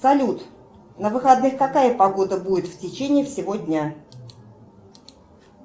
салют на выходных какая погода будет в течение всего дня